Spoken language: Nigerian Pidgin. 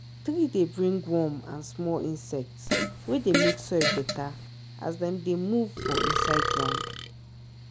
tree dey bring worm and small insect wey dey make soil better as dem dey move for inside ground.